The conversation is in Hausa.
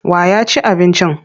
Wa ya ci abincin?